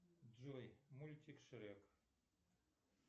джой мультик шрек